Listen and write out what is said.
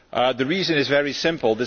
The reason is very simple.